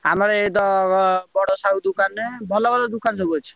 ଆମର ଏଇତ, ବଡ ସାହୁ ଦୋକାନରେ ଭଲ ଭଲ ଦୋକାନ ସବୁ ଅଛି।